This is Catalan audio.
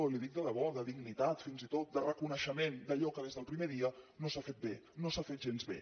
li ho dic de debò de dignitat fins i tot de reconeixement d’allò que des del primer dia no s’ha fet bé no s’ha fet gens bé